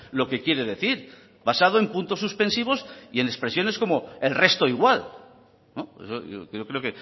lo que quiere decir basado en puntos suspensivos y en expresiones como el resto igual yo creo